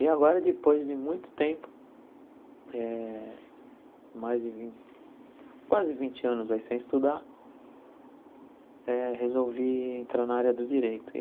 E agora, depois de muito tempo, eh mais de vin quase vinte anos aí sem estudar, eh resolvi entrar na área do Direito e.